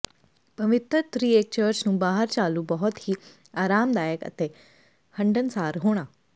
ਪਵਿੱਤਰ ਤ੍ਰਿਏਕ ਚਰਚ ਨੂੰ ਬਾਹਰ ਚਾਲੂ ਬਹੁਤ ਹੀ ਆਰਾਮਦਾਇਕ ਅਤੇ ਹੰਢਣਸਾਰ ਹੋਣਾ